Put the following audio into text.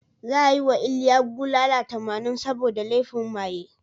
Za a yi wa Iliya bulala tamanin saboda laifin maye.